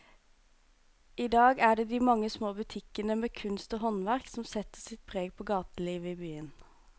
I dag er det de mange små butikkene med kunst og håndverk som setter sitt preg på gatelivet i byen.